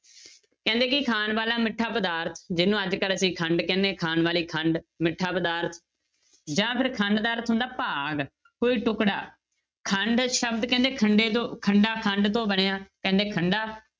ਕਹਿੰਦੇ ਕਿ ਖਾਣ ਵਾਲਾ ਮਿੱਠਾ ਪਦਾਰਥ ਜਿਹਨੂੰ ਅੱਜ ਕੱਲ੍ਹ ਅਸੀਂ ਖੰਡ ਕਹਿੰਦੇ ਹਾਂ ਖਾਣ ਵਾਲੀ ਖੰਡ ਮਿੱਠਾ ਪਦਾਰਥ ਜਾਂ ਫਿਰ ਖੰਡ ਦਾ ਅਰਥ ਹੁੰਦਾ ਭਾਗ ਕੋਈ ਟੁਕੜਾ, ਖੰਡ ਸ਼ਬਦ ਕਹਿੰਦੇ ਖੰਡੇ ਤੋਂ ਖੰਡਾ ਖੰਡ ਤੋਂ ਬਣਿਆ ਕਹਿੰਦੇ ਖੰਡਾ